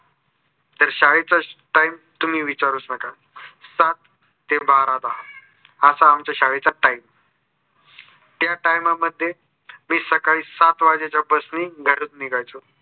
तर शाळेचा time तुम्ही विचारूच नका. सात ते बारा दहा असा आमच्या शाळेचा time त्या time मध्ये मी सकाळच्या सात वाजेच्या bus ने घरून निघायचो.